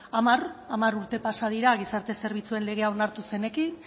hamar hamar urte pasa dira gizarte zerbitzuen legea onartu zenekin